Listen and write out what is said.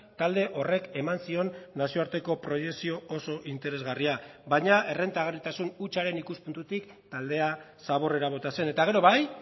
talde horrek eman zion nazioarteko proiekzio oso interesgarria baina errentagarritasun hutsaren ikuspuntutik taldea zaborrera bota zen eta gero bai